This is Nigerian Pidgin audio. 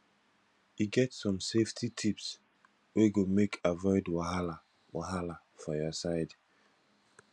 e get some safety tips wey go make avoid wahala wahala for your side